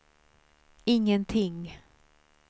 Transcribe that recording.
ingenting